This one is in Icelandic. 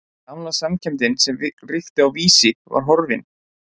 Gamla samkenndin sem ríkti á Vísi var horfin.